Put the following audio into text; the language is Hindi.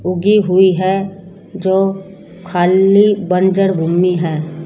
उगी हुई है जो खाल्ली बंजर भूमि है।